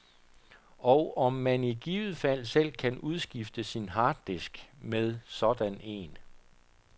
Og om man i givet fald selv kan udskifte sin harddisk med sådan en.